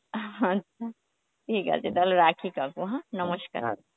আচ্ছা, ঠিক আছে তাহলে রাখি কাকু হ্যাঁ নমস্কার